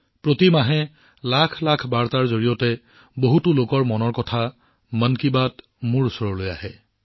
প্ৰতি মাহে লাখ লাখ বাৰ্তাত বহুতো লোকৰ মন কী বাত মোৰ ওচৰলৈ আহে